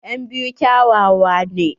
En biyu kyawawa ne.